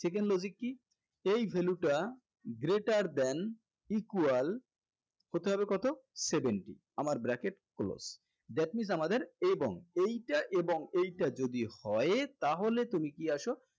second logic কি এই value টা greater than equal হতে হবে কত seventy আমার bracket close that means আমাদের এবং এইটা এবং এইটা যদি হয় তাহলে তুমি কি আসো